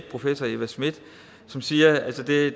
professor eva smith som siger at det